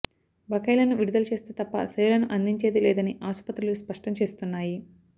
బకాయిలను విడుదల చేస్తే తప్ప సేవలను అందించేది లేదని ఆసుపత్రులు స్పష్టం చేస్తున్నాయి